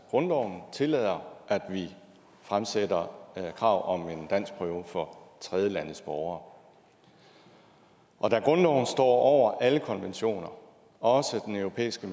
grundloven tillader at vi fremsætter krav om en danskprøve for tredjelandes borgere og da grundloven står over alle konventioner også den europæiske